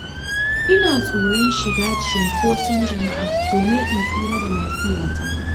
Ina tsoron shiga cunkoson jama'a domin in tsira da lafiyata.